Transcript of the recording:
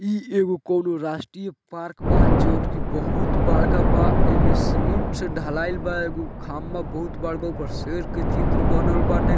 इ एगो कोनो राष्ट्रीय पार्क बा जोन की बहुत बड़का बा एमे सीमेंट से ढलाई बा एगो खम्बा बहुत बड़का ओहपे शेर के चित्र बनल बाटे।